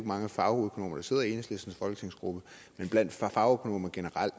mange fagøkonomer der sidder i enhedslistens folketingsgruppe men blandt fagøkonomer generelt